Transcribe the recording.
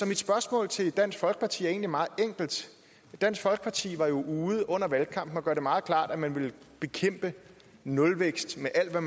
mit spørgsmål til dansk folkeparti er egentlig meget enkelt dansk folkeparti var jo under valgkampen ude at gøre det meget klart at man ville bekæmpe nulvækst med al